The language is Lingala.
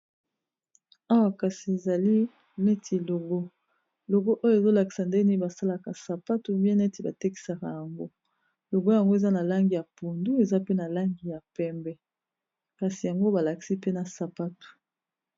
Awa kasi ezali neti logo, logo oyo ezolakisa ndeni basalaka sapatu bien neti batekisaka yango logo yango eza na langi ya pondu eza pe na langi ya pembe kasi yango balakisi pe na sapatu.